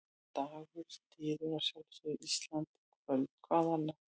Dagur styður að sjálfsögðu Ísland í kvöld, hvað annað?